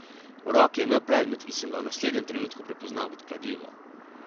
V roki je imel predmet, ki sem ga v naslednjem trenutku prepoznal kot kladivo.